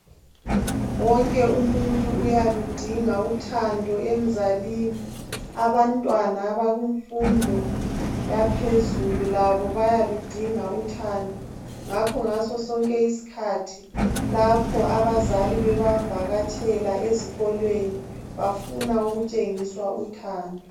Wonke umuntu uyaludinga uthando emzalini abantwana abakumfundo yaphezulu labo bayaludinga uthando ngakho ngasosonke isikhathi lapho abazali bebavakatshele ezikolweni bafuna kutshengiswa uthando.